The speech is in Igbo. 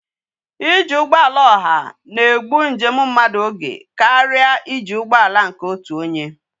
iji ugboala oha na egbu njem mmadu oge karia iji ugboala nke otu onye